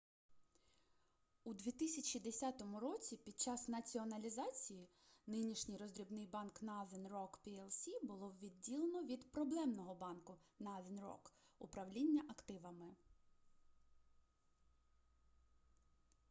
у 2010 році під час націоналізації нинішній роздрібний банк northern rock plc було відділено від проблемного банку northern rock управління активами